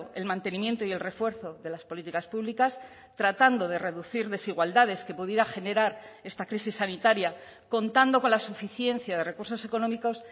el mantenimiento y el refuerzo de las políticas públicas tratando de reducir desigualdades que pudiera generar esta crisis sanitaria contando con la suficiencia de recursos económicos